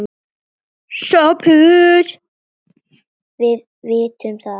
SOPHUS: Við vitum það ekki.